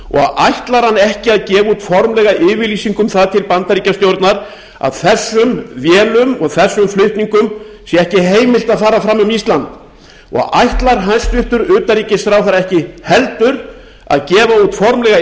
ætlar hann ekki að gefa út formlega yfirlýsingu um það til bandaríkjastjórnar að þessum vélum og þessum flutningum sé ekki heimilt að fara fram um ísland ætlar hæstvirts utanríkisráðherra ekki heldur að gefa út formlega